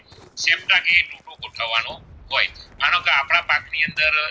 પાક ની અંદર